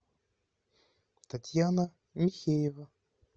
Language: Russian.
татьяна михеева